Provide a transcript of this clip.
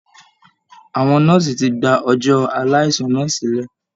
Àwọn nọ́ọ̀si ti gba ọjọ aaláìsàn náà sílẹ̀